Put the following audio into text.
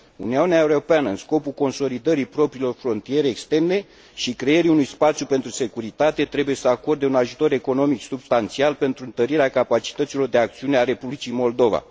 Uniunea Europeană, în scopul consolidării propriilor frontiere externe și creării unui spațiu pentru securitate, trebuie să acorde un ajutor economic substanțial pentru întărirea capacităților de acțiune ale Republicii Moldova.